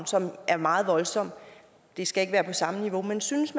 er meget voldsom og det skal ikke være på samme niveau men synes